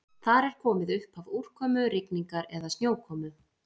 Þar er komið upphaf úrkomu, rigningar eða snjókomu.